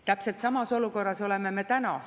Täpselt samas olukorras oleme me täna.